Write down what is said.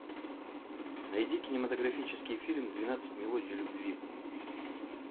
найди кинематографический фильм двенадцать мелодий любви